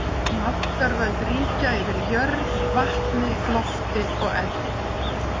Máttarvöld ríkja yfir jörð, vatni, lofti og eldi.